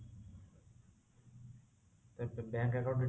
bank account details ଟା